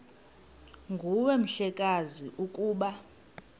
nguwe mhlekazi ukuba